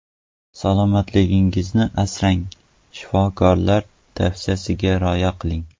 Salomatligingizni asrang, shifokorlar tavsiyasiga rioya qiling.